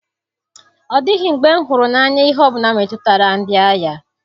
Ọ dịghị mgbe m hụrụ n'anya ihe ọ bụla metụtara ndị agha.